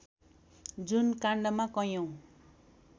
जुन काण्डमा कैयौँ